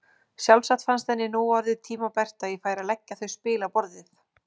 Sjálfsagt fannst henni nú orðið tímabært að ég færi að leggja þau spil á borðið!